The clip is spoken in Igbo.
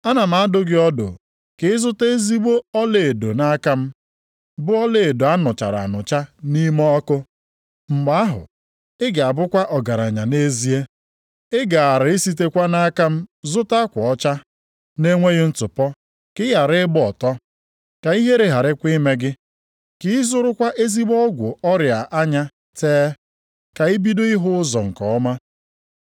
Ana m adụ gị ọdụ ka ịzụta ezigbo ọlaedo nʼaka m, bụ ọlaedo a nụchara anụcha nʼime ọkụ. Mgbe ahụ, ị ga-abụkwa ọgaranya nʼezie. Ị gaara esitekwa nʼaka m zụta akwa ọcha na-enweghị ntụpọ ka ị ghara ịgba ọtọ, ka ihere gharakwa ime gị. Ka ị zụrụkwa ezigbo ọgwụ ọrịa anya tee, ka ibido ịhụ ụzọ nke ọma.